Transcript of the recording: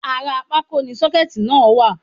Ara pákó ni sọ́kẹ̀tì náà wà